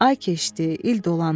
Ay keçdi, il dolandı.